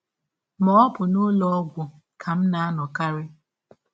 Ma, ọ bụ n’ụlọ ọgwụ ka m na - anọkarị.